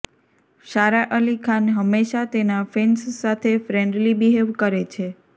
સારા અલી ખાન હંમેશાં તેના ફેન્સ સાથે ફ્રેન્ડલી બિહેવ કરે છે